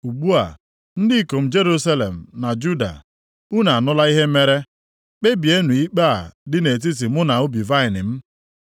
“Ugbu a, ndị ikom Jerusalem na Juda, unu anụla ihe mere. Kpebienụ ikpe a dị nʼetiti mụ na ubi vaịnị m.